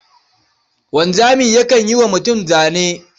Wanzami yakan yi wa mutum zane.